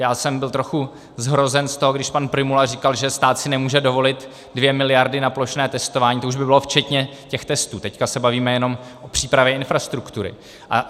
Já jsem byl trochu zhrozen z toho, když pan Prymula říkal, že stát si nemůže dovolit dvě miliardy na plošné testování, to už by bylo včetně těch testů, teď se bavíme jenom o přípravě infrastruktury.